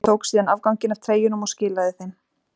Ég tók síðan afganginn af treyjunum og skilaði þeim.